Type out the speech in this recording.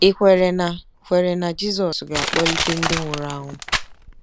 Ì kwere na kwere na Jizọs ga-akpọlite ndị nwụrụ anwụ?